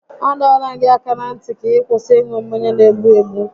A dọọla m gị aka na ntị gị kwụsị ịṅụ mmanya n'egbu egbụ!